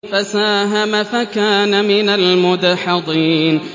فَسَاهَمَ فَكَانَ مِنَ الْمُدْحَضِينَ